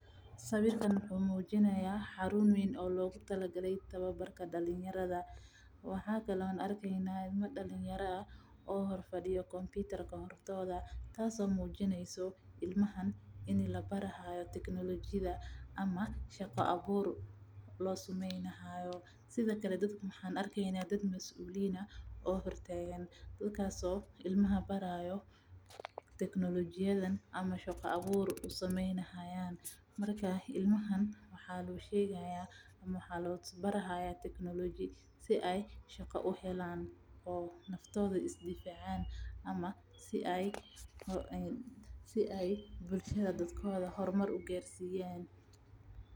Sawiirkaan wuxuu mujinaaya xaruun weyn oo loogu tala galay dalinyarada waxaan aragna ilmaha hor fado kompitra waxaan arkeyna dad masuuliyin ah oo hor taagan ilmaha waxaa labaraaya teknolojiyada si aay shaqa uhelaan ama si aay bulshada hor mar ugarsiyaan.